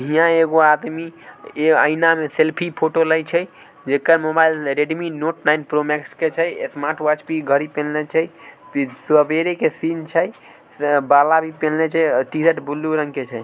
हीया एगो आदमी आइना सेल्फी-फोटो ले छे जेके mobile Redmi note nine pro max ऐ छे ए स्मार्ट वोच कि घडी पहेन ले छे पे सबेरे के सीन छे टी-शर्ट ब्लू रंग के छै।